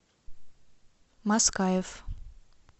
маскаев